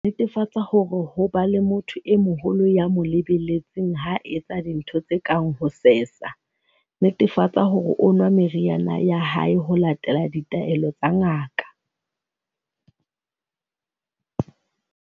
Netefatsa hore ho ba le motho e moholo ya mo le-beletseng ha a etsa dintho tse kang ho sesa. Netefatsa hore o nwa meriana ya hae ho latela ditaelo tsa ngaka.